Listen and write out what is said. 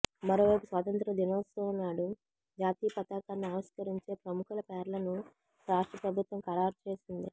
మరోవైపు స్వాతంత్య్ర దినోత్సవంనాడు జాతీయ పతాకాన్ని ఆవిష్కరించే ప్రముఖుల పేర్లను రాష్ట్ర ప్రభుత్వం ఖరారు చేసింది